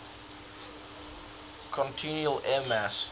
continental air mass